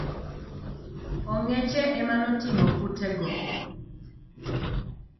Ong'eche emanoting'o kute go.